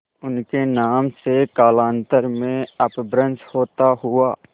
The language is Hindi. उनके नाम से कालांतर में अपभ्रंश होता हुआ